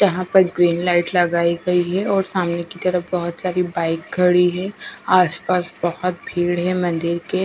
जहाँ पर green light लगाई गई है और सामने की तरफ बहुत सारी बाइक खड़ी है आसपास बहुत भीड़ है मंदिर के--